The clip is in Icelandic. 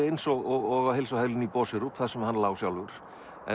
eins og á heilsuhælinu í Boserup þar sem hann lá sjálfur